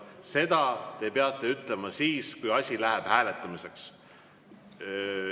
Seda te peate ütlema siis, kui läheb hääletamiseks.